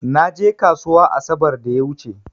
Na je ƙasuwa asabar da ya wuche.